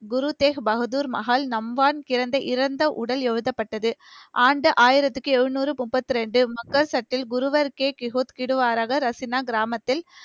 குரு தேக் பகதூர் மஹால், நம்பான் கிடந்த இறந்த உடல் எழுதப்பட்டது. ஆண்டு, ஆயிரத்துக்கு எழுநூறு, முப்பத்து இரண்டு, ரசீனா கிராமத்தில்,